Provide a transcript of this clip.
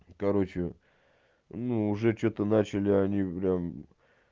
короче ну уже что-то начали они бля